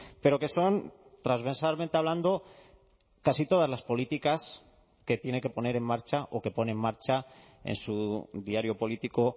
pero que son transversalmente hablando casi todas las políticas que tiene que poner en marcha o que pone en marcha en su diario político